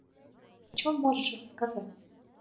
что можешь рассказать